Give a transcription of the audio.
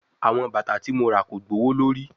Awọn bata ti mo ra ko gbowolori